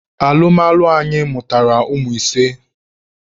Alụmalụ anyị mụtara ụmụ ise.